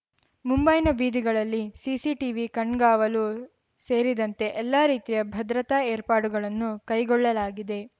ಮುಂಬೈನ ಬೀದಿಗಳಲ್ಲಿ CC TV ಕಣ್ಗಾವಲು ಸೇರಿದಂತೆ ಎಲ್ಲಾ ರೀತಿಯ ಭದ್ರತಾ ಏರ್ಪಾಡುಗಳನ್ನು ಕೈಗೊಳ್ಳಲಾಗಿದೆ